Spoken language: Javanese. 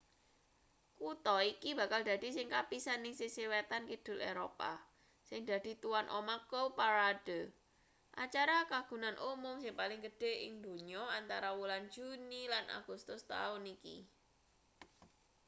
kutha iki bakal dadi sing kapisan ing sisih wetan-kidul eropa sing dadi tuwan omah cowparade acara kagunan umum sing paling gedhe ing donya antara wulan juni lan agustus taun iki